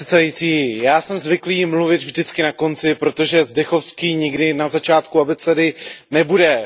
Pane předsedající, já jsem zvyklý mluvit vždycky na konci, protože Zdechovský nikdy na začátku abecedy nebude.